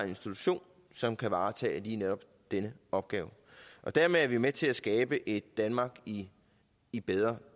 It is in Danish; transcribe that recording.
institution som kan varetage lige netop denne opgave dermed er vi med til at skabe et danmark i i bedre